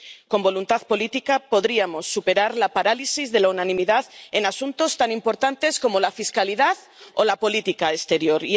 Con voluntad política podríamos superar la parálisis de la unanimidad en asuntos tan importantes como la fiscalidad o la política exterior.